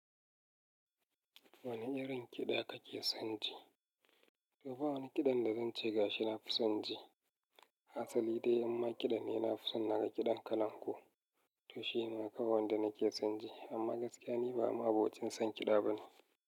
Wane irin kiɗa kake son ji? To ba wani kiɗan da zan ce ga shi na fi son ji. Asali dai amma kiɗan ne na fi so. Na ga kiɗan kalangu to shi ma kawai wanda nake son ji. Amma gaskiya ni ba ma'abocin son kiɗa bane.